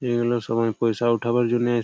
এইগুলো সময় পয়সা উঠাবার জন্য--